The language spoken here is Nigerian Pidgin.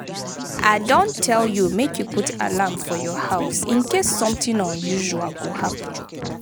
I don tell you make you put alarm for your house in case something unusual go happen.